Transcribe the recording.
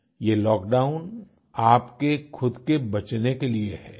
ये लॉकडाउन आपके खुद के बचने के लिए है